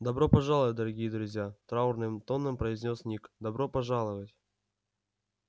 добро пожаловать дорогие друзья траурным тоном произнёс ник добро пожаловать